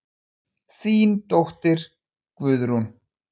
Þín dóttir, Guðrún.